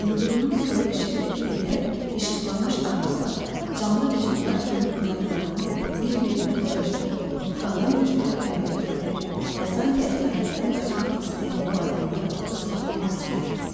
İldırımın soyuq şəfəqi ilə işıqlanmış ağaclar canlı vücudlar kimi budaqlarını bir-birinə dolaşdırıb, qalın bir tor əmələ gətirir və sanki əsarətdən qaçmaq istəyən bu adamları tutub saxlamaq istəyirdi.